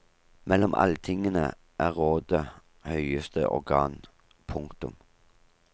Mellom alltingene er rådet høyeste organ. punktum